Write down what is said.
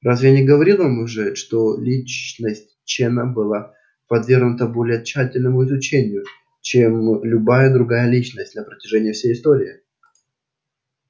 разве я не говорил вам уже что личность чена была подвергнута более тщательному изучению чем любая другая личность на протяжении всей истории